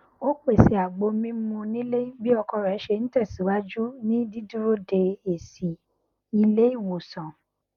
ó pèsè àgbo mímu nílé bí ọkọ rẹ ṣe n tẹsìwájú ní dídúró de èsì ilé ìwòsàn